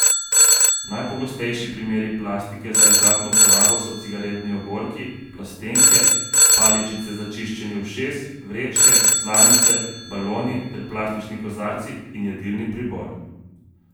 Najpogostejši primeri plastike za enkratno uporabo so cigaretni ogorki, plastenke, paličice za čiščenje ušes, vrečke, slamice, baloni ter plastični kozarci in jedilni pribor.